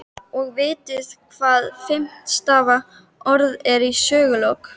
Og vitið þið hvað er fimm stafa orð yfir sögulok?